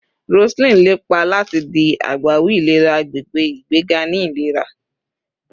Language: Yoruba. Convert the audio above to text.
Roseline lepa lati di agbawi ilera agbegbe, igbega ni ilera